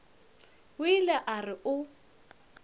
o ile a re o